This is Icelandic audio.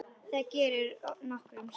Það gerir Gerður nokkrum sinnum.